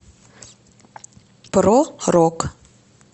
про рок